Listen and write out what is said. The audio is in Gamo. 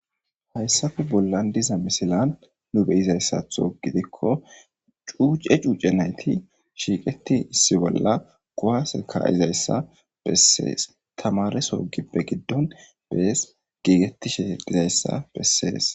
Ha missile bollan diiza missilen nu beizayssatho giidiko cuuce cuuce nayti shiqqeti issi bolla kuwase kaizayssa besses tamareso giibe giddon dess gigetishe dizayssa besses.